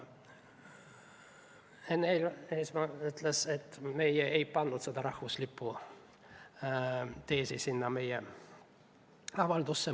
Enn Eesmaa ütles, et me ei pannud seda rahvuslipu teesi sellesse meie avaldusse.